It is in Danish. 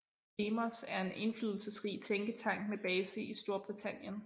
Demos er en indflydelsesrig tænketank med base i Storbritannien